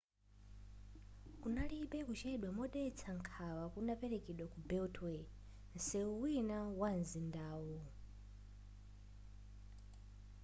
kunalibe kuchedwa modetsa nkhawa kunaperekedwa ku beltway nseu wina wa nzindawu